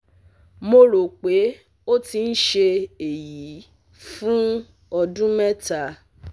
mo rò pé ó ti ń ṣe èyí fún ọ̀dún mẹ́ta